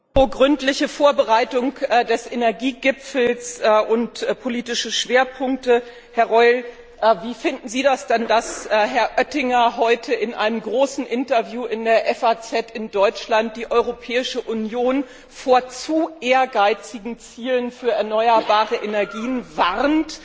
Herr Präsident! Apropos gründliche Vorbereitung des Energiegipfels und politische Schwerpunkte Herr Reul, wie finden Sie das denn, dass Herr Oettinger heute in einem großen Interview in der FAZ in Deutschland die Europäische Union vor zu ehrgeizigen Zielen für erneuerbare Energien warnt?